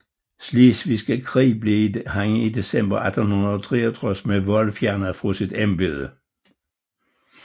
Slesvigske Krig blev han i december 1863 med vold fjernet fra sit embede